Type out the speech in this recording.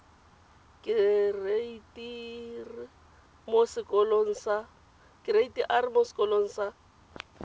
kereite r mo sekolong sa